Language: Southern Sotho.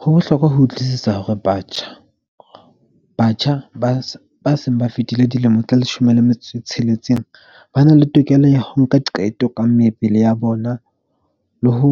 Ho bohlokwa ho utlwisisa hore batjha ba se ba seng ba fetile dilemo tse leshome le metso e tsheletseng, ba na le tokelo ya ho nka qeto ka mebele ya bona le ho